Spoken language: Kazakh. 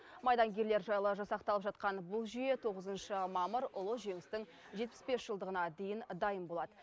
майдангерлер жайлы жасақталып жатқан бұл жүйе тоғызыншы мамыр ұлы жеңістің жетпіс бес жылдығына дейін дайын болад